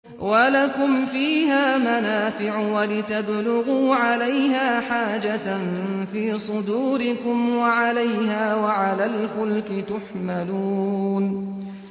وَلَكُمْ فِيهَا مَنَافِعُ وَلِتَبْلُغُوا عَلَيْهَا حَاجَةً فِي صُدُورِكُمْ وَعَلَيْهَا وَعَلَى الْفُلْكِ تُحْمَلُونَ